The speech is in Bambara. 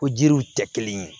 Ko jiriw tɛ kelen ye